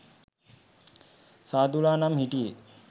සාදු ලා නම් හිටියේ